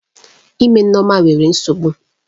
Ime Nneoma nwere nsogbu.